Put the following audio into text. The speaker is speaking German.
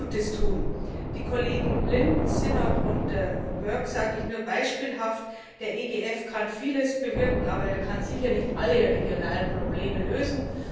Den Kollegen Lynne, Sinnott und Burke sage ich nur beispielhaft Der EGF kann vieles bewirken, aber er kann sicherlich nicht alle regionalen Probleme lösen.